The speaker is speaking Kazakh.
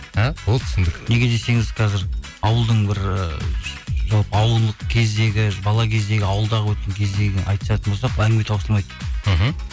а болды түсіндік неге десеңіз қазір ауылдың бір ы жалпы ауылдық кездегі бала кездегі ауылдағы өткен кездегі айтысатын болсақ әңгіме таусылмайды мхм